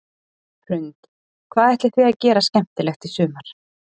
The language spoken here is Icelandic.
Hrund: Hvað ætlið þið að gera skemmtilegt í sumar?